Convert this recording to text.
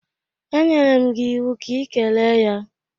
E nyere m gị iwu ka ị kelee ya!